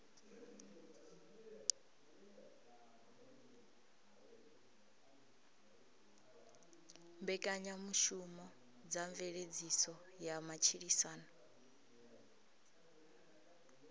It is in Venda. mbekanyamushumo dza mveledziso ya matshilisano